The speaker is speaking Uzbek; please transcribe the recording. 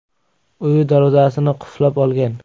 uyi darvozasini qulflab olgan.